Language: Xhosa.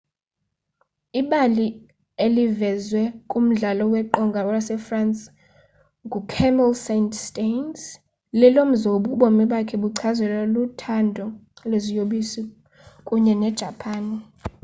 ibali elivezwe kumdlalo weqonga wasefrance ngucamille saint-saens lelomzobi obomi bakhe buchazelwa luthando lweziyobisi kunye nejapan